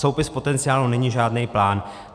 Soupis potenciálu není žádnej plán.